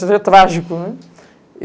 Seria trágico, né?